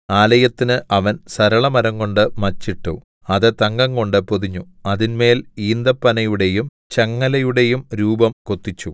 ആലയത്തിന് അവൻ സരളമരംകൊണ്ട് മച്ചിട്ടു അത് തങ്കംകൊണ്ടു പൊതിഞ്ഞു അതിന്മേൽ ഈന്തപ്പനയുടെയും ചങ്ങലയുടെയും രൂപം കൊത്തിച്ചു